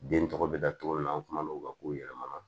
Den tɔgɔ bɛ da togo min na an kumana o ka kow yɛlɛmana